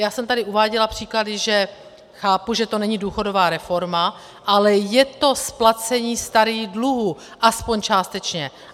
Já jsem tady uváděla příklady, že chápu, že to není důchodová reforma, ale je to splacení starých dluhů, aspoň částečně.